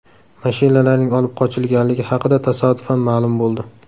Mashinalarning olib qochilganligi haqida tasodifan ma’lum bo‘ldi.